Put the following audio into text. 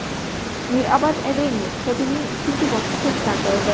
Mirabad Avenue’da sotuvning ikkinchi bosqichi start oldi!.